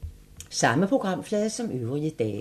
Samme programflade som øvrige dage